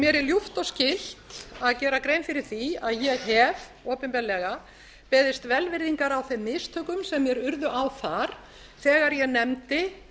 mér er ljúft og skylt að gera grein fyrir því að ég hef opinberlega beðist velvirðingar á þeim mistökum sem mér urðu á þar þegar ég nefndi